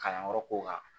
Kalanyɔrɔ kow kan